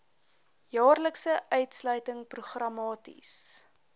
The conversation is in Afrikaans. jaarlikse uitsluiting programmaties